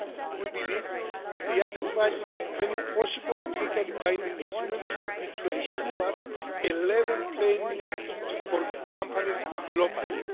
We believe the added value of any possible legally binding instrument should be to ensure a level playing field for companies globally.